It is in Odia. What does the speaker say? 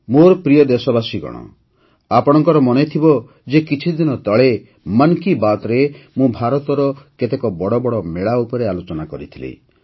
ମୋର ପ୍ରିୟ ଦେଶବାସୀଗଣ ଆପଣଙ୍କର ମନେଥିବ ଯେ କିଛିଦିନ ତଳେ ମନ୍ କି ବାତ୍ରେ ମୁଁ ଭାରତର କେତେକ ବଡ଼ ବଡ଼ ମେଳା ଉପରେ ଆଲୋଚନା କରିଥିଲି